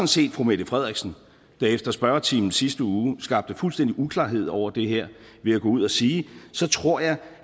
set fru mette frederiksen der efter spørgetimen sidste uge skabte fuldstændig uklarhed over det her ved at gå ud og sige så tror jeg